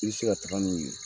I bɛ se ka taaga n'u ye.